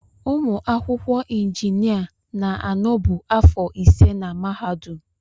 Ụmụ akwụkwọ injinia na-anọbu afọ ise na mahadum.